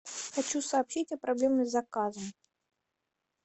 хочу сообщить о проблеме с заказом